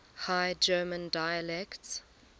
high german dialects